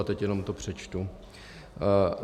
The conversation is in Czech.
A teď to jenom přečtu.